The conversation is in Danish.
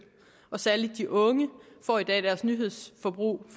og særlig de unge får i dag deres nyhedsforbrug